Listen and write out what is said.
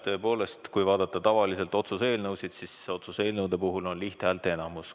Tõepoolest, kui vaadata tavalisi otsuse eelnõusid, siis nende puhul on vaja lihthäälteenamust.